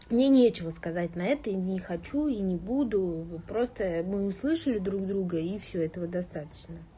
мне нечего сказать на это и не хочу и не буду просто мы услышали друг друга и всё этого достаточно